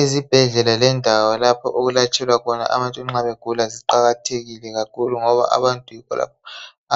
Ezibhedlela lendawo lapho okulatshelwa khona abantu nxa begula ziqakathekile kakhulu ngoba abantu